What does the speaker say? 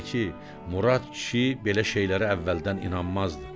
Murad kişi belə şeylərə əvvəldən inanmazdı.